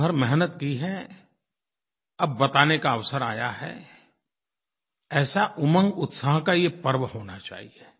साल भर मेहनत की है अब बताने का अवसर आया है ऐसा उमंगउत्साह का ये पर्व होना चाहिए